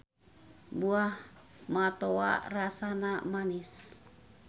Buah matoa rasana manis.